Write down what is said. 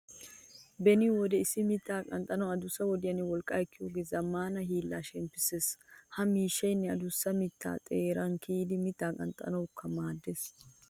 Beni wode issi mittaa qanxxanawu adussa wodiyanne wolqqaa ekkiyogaappe zammaana hiillay shemppissiis. Ha maashiinee adussa mittaa xeeran kiyidi mittaa qanxxanawukka maaddees.